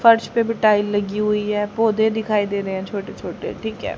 फर्श पे भी टाईल लगी हुई है पौधे दिखाई दे रहे हैं छोटे छोटे ठीक है।